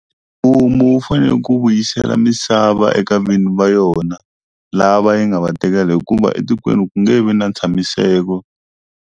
Mfumu wu fanele ku vuyisela misava eka vinyi va yona lava yi nga va tekela hikuva etikweni ku nge vi na ntshamiseko.